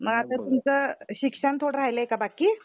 मग आता तुमच्या शिक्षण थोडं राहिले काय बाकी?